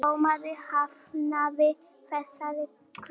Dómari hafnaði þessari kröfu